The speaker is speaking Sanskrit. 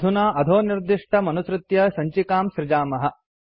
अधुना अधोनिर्दिष्टमनुसृत्य सञ्चिकां सृजामः